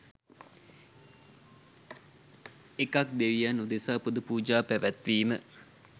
එකක් දෙවියන් උදෙසා පුද පූජා පැවැත්වීම